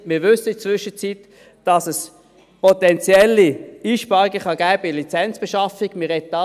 In der Zwischenzeit wissen wir, dass es potenzielle Einsparungen bei der Lizenzbeschaffung geben kann.